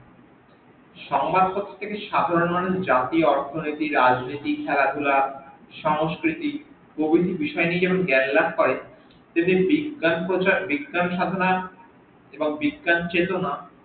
সংবাদ পত্র থেকে সাধারন মানুষ জাতি অর্থনীতি রাজনীতি খেলাধুলা সংস্কৃতি প্রভৃতি বিষয় নিয়ে যেমন জ্ঞান লাভ করে তেমনি বিজ্ঞান প্রচার বিজ্ঞান সাধনা এবং বিজ্ঞান চেতনা